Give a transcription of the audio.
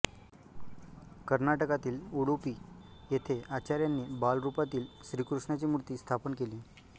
कर्नाटकातील उडुपी येथे आचार्यांनी बालरूपातील श्रीकृष्णाची मूर्ती स्थापन केली